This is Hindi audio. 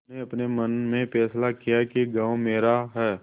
उन्होंने अपने मन में फैसला किया कि गॉँव मेरा है